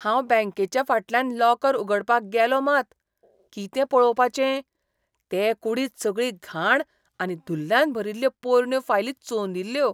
हांव बॅंकेच्या फाटल्यान लॉकर उगडपाक गेलां मात, कितें पळोवपाचें?ते कुडींत सगळी घाण आनी धुल्लान भरिल्ल्यो पोरण्यो फायली चोंदिल्ल्यो.